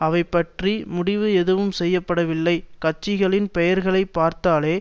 அவைபற்றி முடிவு எதுவும் செய்ய படவில்லை கட்சிகளின் பெயர்களை பார்த்தாலே